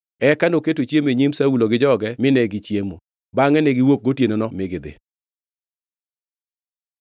Eka noketo chiemo e nyim Saulo gi joge mine gichiemo. Bangʼe ne giwuok gotienono mi gidhi.